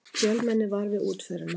Fjölmenni var við útförina